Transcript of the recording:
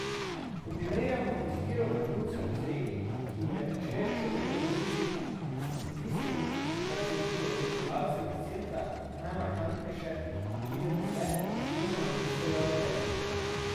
Ko primerjamo izbiro vrhuncev iz regij, ki jim je Večer še vedno bližji, in tistim, kar se zdi odločevalcem iz centra najmarkantnejše, pridemo le izjemoma do istega akterja.